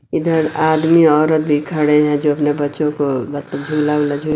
इधर आदमी औरत भी खड़े हैं जो अपने बच्चो को मतलब झूला ऊला झूल--